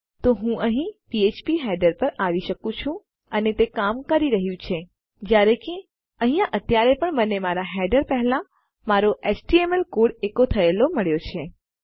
તો હું અહીં ફીડર પર આવી શકું છું અને તે કામ કરી રહ્યું છે જયારે કે અહીંયા અત્યારે પણ મને મારાં હેડર પહેલા મારો એચટીએમએલ કોડ એકો થયેલ મળ્યો છે